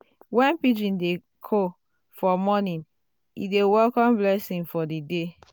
when pigeon dey coo for morning e dey welcome blessing for the day.